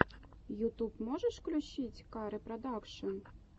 ютуб можешь включить ка ре продакшен